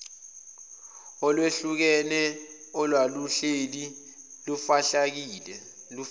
olwehlukene olwaluhleli lufihlakele